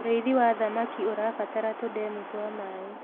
ũrĩithi wa thamaka ũrabatara tundemu twa maĩ